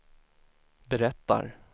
berättar